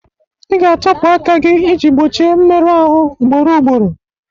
Ị ga-atọpụ aka gị iji gbochie mmerụ ahụ ugboro ugboro.